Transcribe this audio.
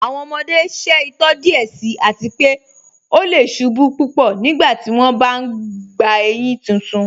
Awọn ọmọde ṣẹ itọ díẹ̀ síì àti pé ọ lẹ̀ ṣubú púpọ́ nígbàtí wọn bá n gbà éyin títún.